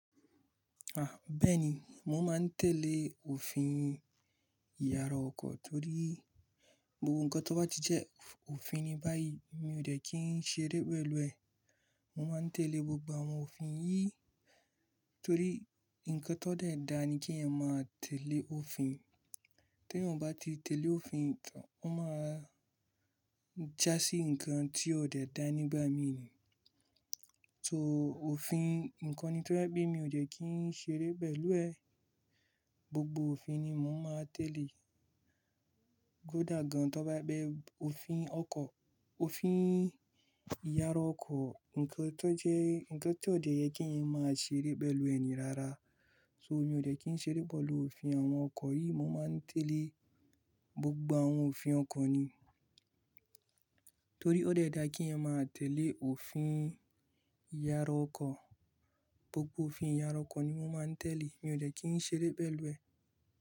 Ah! Bẹ́ẹ̀ni, mo máa ń tẹ̀lé òfin ìyàrá ọkọ̀ torí gbogbo nǹkan tó bá ti jẹ́ òfin ní báyìí mi ò de kí ń ṣeré pẹ̀lú ẹ̀. Mo máa ń tẹ̀lé gbogbo àwọn òfin yìí torí nǹkan tó dẹ́ dáa ni kí èèyàn máa tẹ̀lé òfin. Tí èèyàn bá ti tẹ̀lé òfin tán, ó máa já sí nǹkan tí ò dẹ́ dáa nígbà mí ì. So òfin nǹkan ni tó je pe mi ò de kí ń ṣeré pẹ̀lú ẹ̀. Gbogbo òfin ni mo máa tẹ̀lé. Kódà gan-an tó bá gbé òfin ọkọ̀, òfin ìyàrá ọkọ̀, nǹkan tó jẹ́, nǹkan tó dẹ́yẹ kí èèyàn máa ṣeré pẹ̀lú ẹni rara. So mi ò de kí ń ṣeré pẹ̀lú òfin àwọn ọkọ̀ yìí, mo máa ń tẹ̀lé gbogbo àwọn òfin ọkọ̀ ni. Torí ó dẹ́ dáa kí èèyàn máa tẹ̀lé òfin ìyàrá ọkọ̀. Gbogbo òfin ìyàrá ọkọ̀ ni mo máa ń tẹ̀lé, mi ò jẹ́ kí ń ṣeré pẹ̀lú ẹ̀.